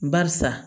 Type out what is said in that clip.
Barisa